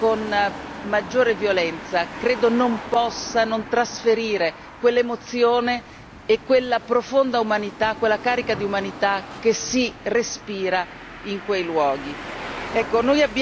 maggiore e con maggiore violenza, credo non possa non trasferire quell'emozione e quella profonda umanità, quella carica di umanità che si respira in quei luoghi.